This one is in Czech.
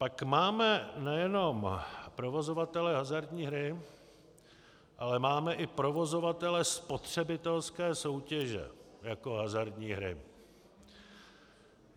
Pak máme nejen provozovatele hazardní hry, ale máme i provozovatele spotřebitelské soutěže jako hazardní hry.